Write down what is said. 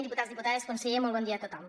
diputats diputades conseller molt bon dia a tothom